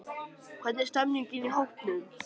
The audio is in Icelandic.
Hvernig stemmningin í hópnum?